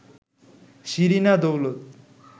Shirina Daulat